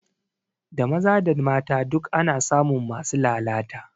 Da maza da mata duk ana samun masu lalata